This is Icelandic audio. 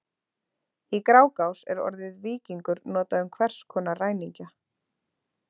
Í Grágás er orðið víkingur notað um hvers konar ræningja.